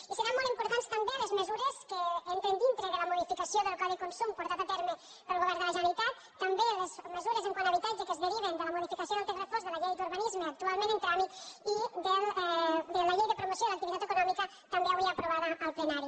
i seran molt importants també les mesures que entren dintre de la modificació del codi de consum portat a terme pel govern de la generalitat també les mesures quant a habitatge que es deriven de la modificació del text refós de la llei d’urbanisme actualment en tràmit i de la llei de promoció de l’activitat econòmica també avui aprovada al plenari